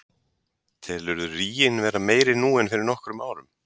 Telurðu ríginn vera meiri nú en fyrir nokkrum árum?